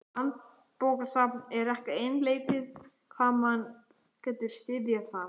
Landsbókasafn er ekki einleikið hvað mann getur syfjað þar.